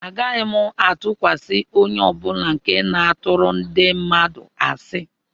Agaghị m atụkwasị onye ọ bụla nke na-atụrụ ndị mmadụ asị